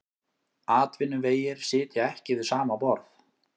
Atvinnuvegir sitja ekki við sama borð